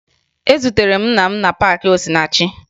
Ezutere m nna m na paakị Osinachi